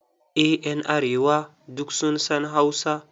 EH, duk ƴan arewa sun san Hausa.